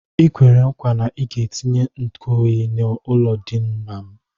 I kwere nkwa na ị ga-etinye nkuoyi n'ụlọndina m